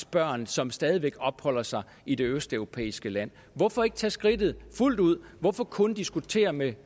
børn som stadig væk opholder sig i det østeuropæiske land hvorfor ikke tage skridtet fuldt ud hvorfor kun diskutere med